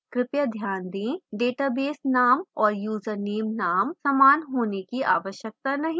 कृपया ध्यान दें database name और username name समान होने की आवश्यकता नहीं है